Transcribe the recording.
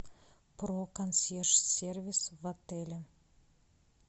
про консьерж сервис в отеле